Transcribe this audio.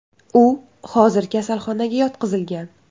U hozir kasalxonaga yotqizilgan.